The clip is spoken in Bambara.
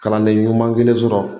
Kalanden ɲuman kelen sɔrɔ